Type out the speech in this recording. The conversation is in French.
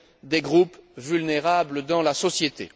des groupes vulnérables dans la société.